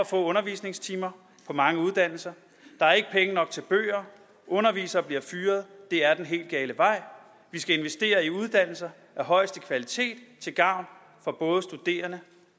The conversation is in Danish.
få undervisningstimer på mange uddannelser der er ikke penge nok til bøger undervisere bliver fyret det er den helt gale vej vi skal investere i uddannelser af højeste kvalitet til gavn for både studerende og